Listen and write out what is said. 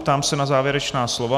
Ptám se na závěrečná slova.